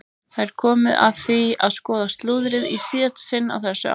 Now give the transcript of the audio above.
Það er komið að því að skoða slúðrið í síðasta sinn á þessu ári!